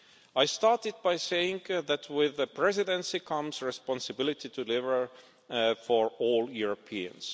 I started by saying that with the Presidency comes the responsibility to deliver for all Europeans.